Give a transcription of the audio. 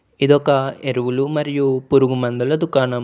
ఇదొక ఎరువులు మరియు పురుగు మందుల దుకాణం.